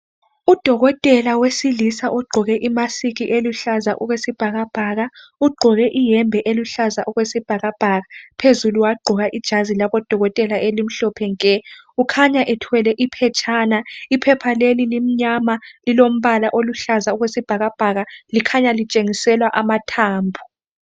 Udokotela wesilisa ogqoke imask eluhlaza okwesibhakabhaka ugqoke iyembe eluhlaza okwesibhakabhaka phezulu wagqoka ijazi labodokotela elimhlophe nke .Ukhanya ethwele iphetshana .Iphepha leli limnyama lilombala oluhlaza okwesibhakabhaka likhanya litshengisela amathambo .